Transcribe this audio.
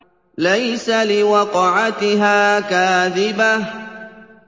لَيْسَ لِوَقْعَتِهَا كَاذِبَةٌ